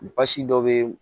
Basi dɔ bɛ